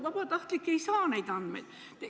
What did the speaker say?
Vabatahtlik ei saa sealt neid andmeid.